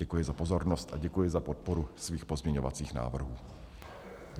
Děkuji za pozornost a děkuji za podporu svých pozměňovacích návrhů.